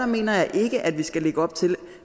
mener jeg ikke at vi skal lægge op til at